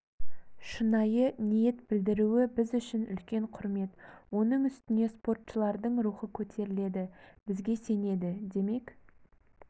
шынайы ниет білдіруі біз үшін үлкен құрмет оның үстіне спортшылардың рухы көтеріледі бізге сенеді демек